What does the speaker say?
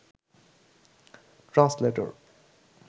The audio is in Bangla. ট্রান্সলেটর